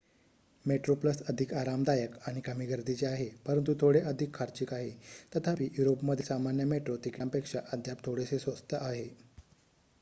Metro Plus अधिक आरामदायक आणि कमी गर्दीचे आहे परंतु थोडे अधिक खर्चिक आहे तथापि युरोपमधील सामान्य मेट्रो तिकीटांपेक्षा अद्याप थोडेसे स्वस्त आहे